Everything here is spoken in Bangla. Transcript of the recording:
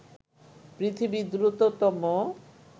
পৃথিবীর দ্রুততম